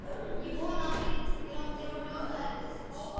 Ég vona, að Fyrirtækið láti ykkur njóta erfiðisins.